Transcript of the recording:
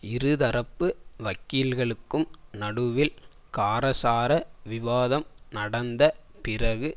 இருதரப்பு வக்கீல்களுக்கும் நடுவில் காரசார விவாதம் நடந்த பிறகு